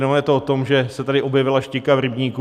Ono je to o tom, že se tady objevila štika v rybníku.